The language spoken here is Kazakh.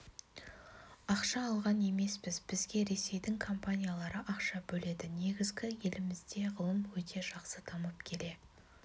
ақша алған емеспіз бізге ресейдің компаниялары ақша бөледі негізі елімізде ғылым өте жақсы дамып келе